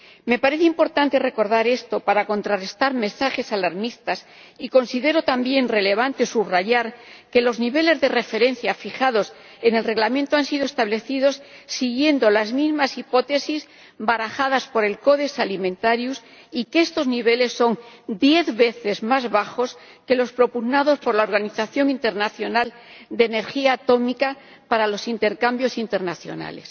Me parece importante recordar esto para contrarrestar mensajes alarmistas y considero también relevante subrayar que los niveles de referencia fijados en la propuesta de Reglamento han sido establecidos siguiendo las mismas hipótesis barajadas por el Codex Alimentarius y que estos niveles son diez veces más bajos que los propugnados por el Organismo Internacional de Energía Atómica para los intercambios internacionales.